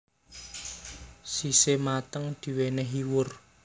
Sise mateng diwenehi wur